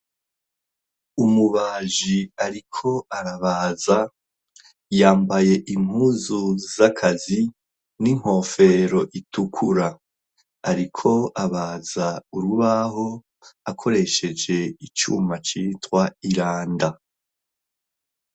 Umubaji ariko arabaza; yambaye impuzu z'akazi n'inkofero itukura. Ariko abaza urubaho akoresheje icuma citwa iranda.